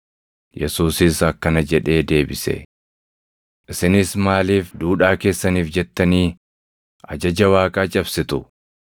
Yesuusis akkana jedhee deebise; “Isinis maaliif duudhaa keessaniif jettanii ajaja Waaqaa cabsitu?